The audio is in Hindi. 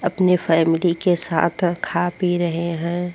अपने फैमिली के साथ खा पी रहे हैं।